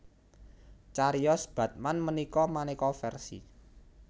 Cariyos Batman ménika maneka versi